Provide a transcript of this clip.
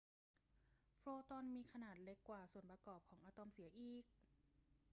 โฟตอนมีขนาดเล็กกว่าส่วนประกอบของอะตอมเสียอีก